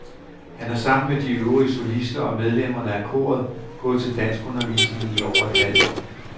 Han har sammen med de øvrige solister og medlemmerne af koret gået til danskundervisning i over et halvt år.